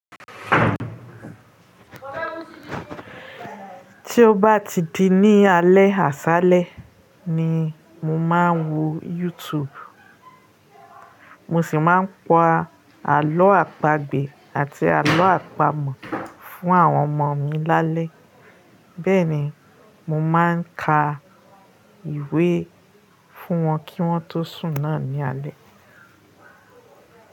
Tí ó bá ti di ní alé àṣálẹ́ ni mo máa ń wo YouTube. Mo sì máa ń kọ àlọ́ àpagbè àti àlọ́ àpamọ̀ fún àwọn ọmọ mi lálẹ́. Bẹ́ẹ̀ ni, mo máa ń ka ìwé fún wọn kí wọ́n tó sùn náà ní alé.